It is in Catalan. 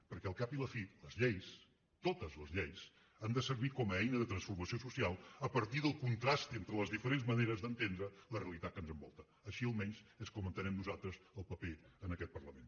perquè al cap i a la fi les lleis totes les lleis han de servir com a eina de transformació social a partir del contrast entre les diferents maneres d’entendre la realitat que ens envolta així almenys és com entenem nosaltres el paper en aquest parlament